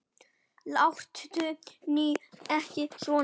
Láttu nú ekki svona